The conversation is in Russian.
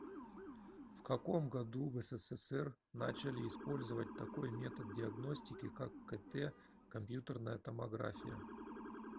в каком году в ссср начали использовать такой метод диагностики как кт компьютерная томография